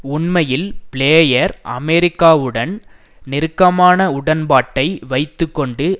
உண்மையில் பிளேயர் அமெரிக்காவுடன் நெருக்கமான உடன்பாட்டை வைத்து கொண்டு